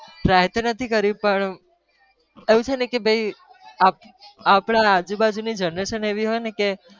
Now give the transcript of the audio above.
try તો નથી કર્યું પણ એવું છેને કે ભાઈ આપણા આજુ-બાજુની generation એવી હોય ને કે.